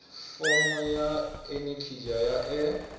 fomo ya anekizha ya e